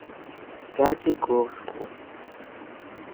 пятигорску